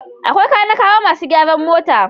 Akwai kanikawa masu gyaran mota.